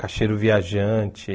Cacheiro viajante.